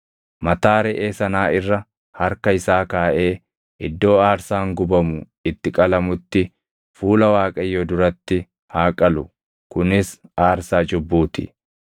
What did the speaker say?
Mataa reʼee sanaa irra harka isaa kaaʼee iddoo aarsaan gubamu itti qalamutti fuula Waaqayyoo duratti haa qalu; kunis aarsaa cubbuu ti.